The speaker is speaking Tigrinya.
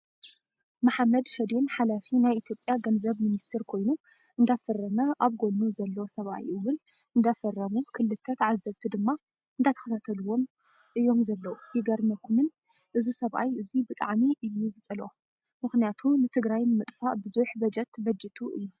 መሓመድ ሸዴን ሓላፊ ናይ ኢትዮጰያ ገንዘብ ሚኒስተር ኮይኑ እንዳፈረመ ኣብ ጎኑ ዘሎ ሰብኣይ እውን እንዳፈረሙ ክልተ ተዓዘብቲ ድማ እንዳተከታተልዎም እዮም ዘለው። የገርመኩን እዚ ሰብኣይ እዙይ ብጣዕሚ እዩ ዝፀልኦ! ምክንያቱ ንትግራይ ንምጥፋእ ብዙሕ በጀት በጅቱ እዩ።